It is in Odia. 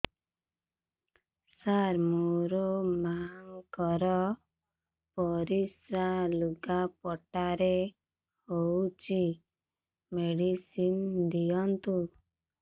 ସାର ମୋର ମାଆଙ୍କର ପରିସ୍ରା ଲୁଗାପଟା ରେ ହଉଚି ମେଡିସିନ ଦିଅନ୍ତୁ